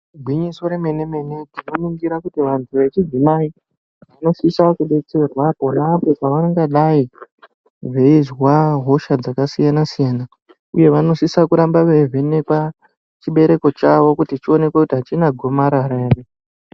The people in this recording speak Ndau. Igwinyiso remene mene tinoningira kuti vantu vechidzimayi vanosisa kudetserwa pona apo pavangadai veizwa hosha dzakasiyana siyana uye vanosisa kuramba veivhenekwa chibereko chavo kuti chionekwe kuti achina gomarara ere.